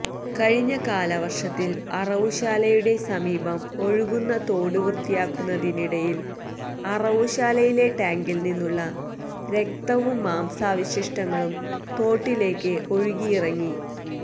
കഴിഞ്ഞ കാലവർഷത്തിൽ അറവുശാലയുടെ സമീപം ഒഴുകുന്ന തോടു വൃത്തിയാക്കുന്നതിനിടയിൽ അറവുശാലയിലെ ടാങ്കിൽ നിന്നുള്ള രക്തവും മാംസാവശിഷ്ടങ്ങളും തോട്ടിലേക്ക് ഒഴുകിയിറങ്ങി